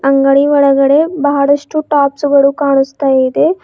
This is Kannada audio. ಅಂಗಡಿ ಒಳಗಡೆ ಬಹಳಷ್ಟು ಟಾಪ್ಸ್ ಗಳು ಕಾಣಸ್ತಾ ಇದೆ.